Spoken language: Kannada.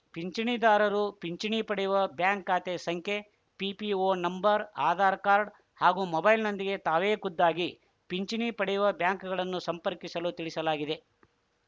ಪಿಂಚಣಿದಾರರು ಪಿಂಚಣಿ ಪಡೆಯುವ ಬ್ಯಾಂಕ್‌ ಖಾತೆ ಸಂಖ್ಯೆ ಪಿಪಿಒ ನಂಬರ್‌ ಆಧಾರ್‌ ಕಾರ್ಡ್‌ ಹಾಗೂ ಮೊಬೈಲ್‌ನೊಂದಿಗೆ ತಾವೇ ಖುದ್ದಾಗಿ ಪಿಂಚಣಿ ಪಡೆಯುವ ಬ್ಯಾಂಕ್‌ಗಳನ್ನು ಸಂಪರ್ಕಿಸಲು ತಿಳಿಸಲಾಗಿದೆ